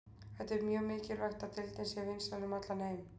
Það er mjög mikilvægt að deildin sé vinsæl um allan heim.